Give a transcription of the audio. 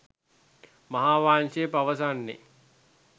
මහාවංශය පවසන්නේ